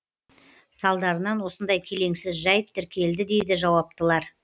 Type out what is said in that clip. салдарынан осындай келеңсіз жәйт тіркелді дейді жауаптылар